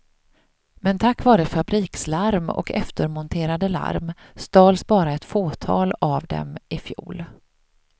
Men tack vare fabrikslarm och eftermonterade larm stals bara ett fåtal av dem ifjol.